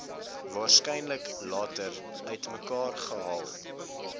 waarskynlik later uitmekaargehaal